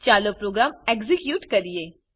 ચાલો program execute કરીએ